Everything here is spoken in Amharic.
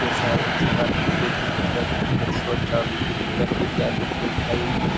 በሳር የተሰራ ክብ ጎጆ ፊት ለፊት ሁለት ሰዎች አሉ። ፊት ለፊት ያለው ፈገግታ